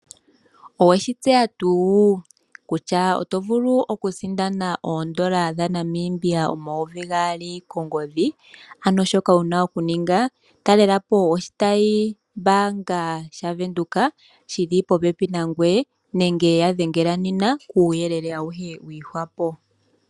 Oweshi tseya tuu kutya oto vulu okusindana ondola dhaNamibia omayovi gaali kongodhi ano shoka wuna okuninga talelapo oshitayi mbanga shaVenduka shili popepi nangweye nenge yadhengela nena kuyelele awuhe wihwapo.